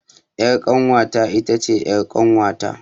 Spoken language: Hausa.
Ƴar kanwata itace ƴar kanwata